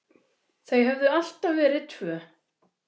Þau höfðu alltaf verið tvö.